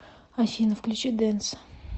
афина включи денс